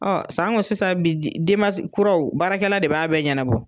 san ko sisan bi denba kuraw baarakɛla de b'a bɛɛ ɲanabɔ.